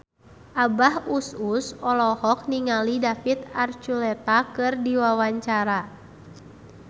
Abah Us Us olohok ningali David Archuletta keur diwawancara